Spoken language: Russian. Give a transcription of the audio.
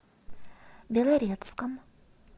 белорецком